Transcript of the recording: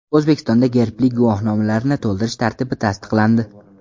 O‘zbekistonda gerbli guvohnomalarni to‘ldirish tartibi tasdiqlandi.